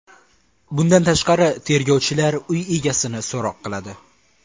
Bundan tashqari, tergovchilar uy egasini so‘roq qiladi.